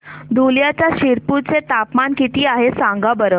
धुळ्याच्या शिरपूर चे तापमान किता आहे सांगा बरं